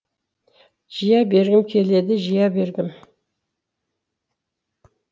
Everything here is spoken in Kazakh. жия бергім келеді жия бергім